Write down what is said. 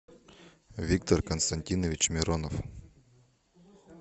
виктор константинович миронов